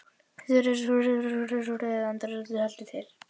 Einhver haustlægðin þeytti mér síðan til útlanda- eða öllu heldur til